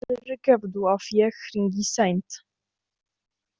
Fyrirgefðu að ég hringi seint.